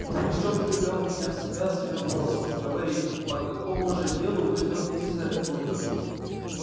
но пугачёв привёл меня в себя своим вопросом говори по какому же делу выехал ты из оренбурга